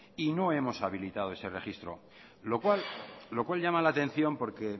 y no hemos habilitado ese registro lo cual llama la atención porque